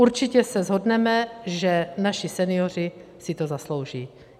Určitě se shodneme, že naši senioři si to zaslouží.